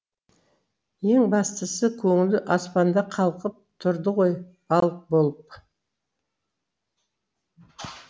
ең бастысы көңілі аспанда қалқып тұрды ғой балық болып